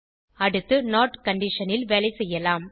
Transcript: அடுத்து not condition ல் வேலை செய்யலாம்